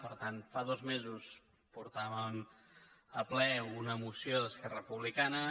per tant fa dos mesos portàvem a ple una moció d’esquerra republicana